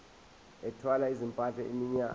ethwala izimpahla iminyaka